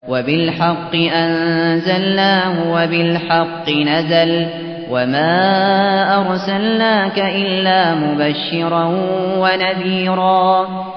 وَبِالْحَقِّ أَنزَلْنَاهُ وَبِالْحَقِّ نَزَلَ ۗ وَمَا أَرْسَلْنَاكَ إِلَّا مُبَشِّرًا وَنَذِيرًا